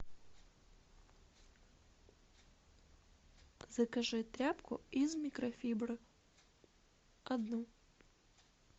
закажи тряпку из микрофибры одну